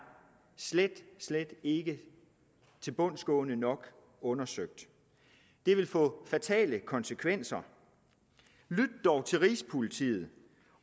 slet ikke tilbundsgående nok undersøgt det vil få fatale konsekvenser lyt dog til rigspolitiet